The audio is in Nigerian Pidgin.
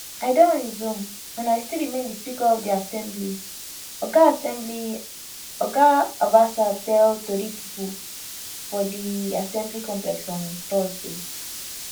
i don resume and i still remain di speaker of di assembly oga assembly oga obasa tell tori pipo for di assembly complex on thursday